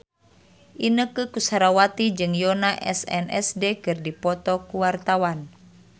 Inneke Koesherawati jeung Yoona SNSD keur dipoto ku wartawan